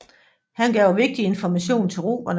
Han gav vigtig information til romerne